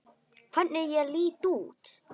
Hvernig ég lít út!